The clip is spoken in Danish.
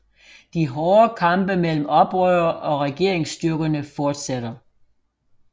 De hårde kampe mellem oprørere og regeringsstyrkerne fortsætter